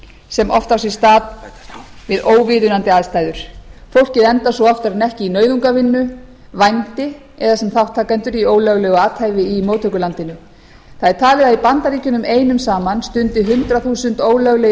sem oft á sér stað við óviðunandi aðstæður fólkið endar svo oftar en ekki í nauðungarvinnu vændi eða sem þátttakendur í ólöglegu athæfi í móttökulandinu það er talið að í bandaríkjunum einum saman stundi hundrað þúsund ólöglegir